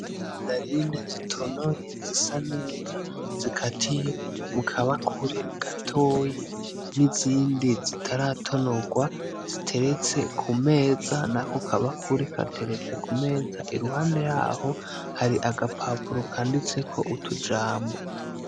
Mandarine zitonoye zisa neza zikatiye mu kabakure gatoya, n'izindi zitaratonogwa ziteretse ku meza, nako kabakure gateretse ku meza, iruhande yaho hari agapapuro kanditseko utujambo.